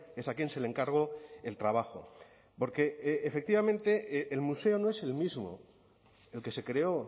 es a quien se le encargó el trabajo porque efectivamente el museo no es el mismo el que se creó